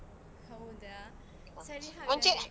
ಹೌದಾ, ಸರಿ ಹಾಗಾದ್ರೆ.